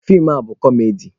Feem a bụ kọmedi.